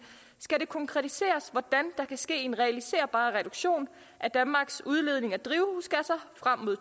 skal det konkretiseres hvordan der kan ske en realiserbar reduktion af danmarks udledning af drivhusgasser frem mod